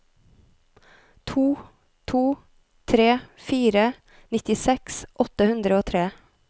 to to tre fire nittiseks åtte hundre og tre